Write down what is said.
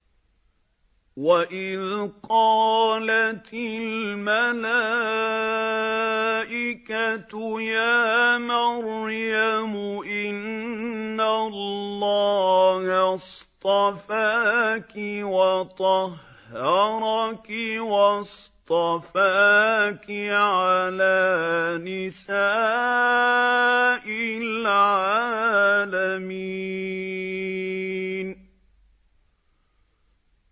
وَإِذْ قَالَتِ الْمَلَائِكَةُ يَا مَرْيَمُ إِنَّ اللَّهَ اصْطَفَاكِ وَطَهَّرَكِ وَاصْطَفَاكِ عَلَىٰ نِسَاءِ الْعَالَمِينَ